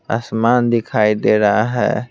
आसमान दिखाई दे रहा है।